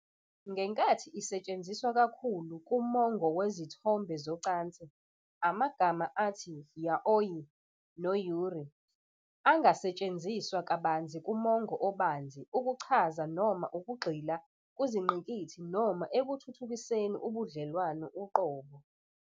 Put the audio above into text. Ngenkathi isetshenziswa kakhulu kumongo wezithombe zocansi, amagama athi "yaoi" no- "yuri" angasetshenziswa kabanzi kumongo obanzi ukuchaza noma ukugxila kuzingqikithi noma ekuthuthukiseni ubudlelwano uqobo.